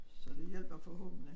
Så det hjælper forhåbentlig